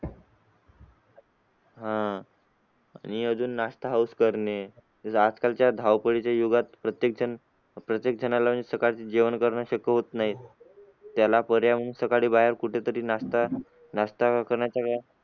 आह आणि अजून नाश्ता house करणे जस आजकालच्या धावपळीच्या युगात प्रत्येक जन प्रत्येक जणाला म्हणजे सकाळचे जेवण करणे शक्य होत नाही त्याला पर्याय म्हणून सकाळी बाहेर कुठेतरी नाश्ता नाश्ता .